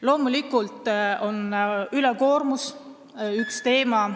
Loomulikult on ülekoormus üks teemasid ...